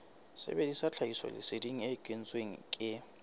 sebedisa tlhahisoleseding e kentsweng ke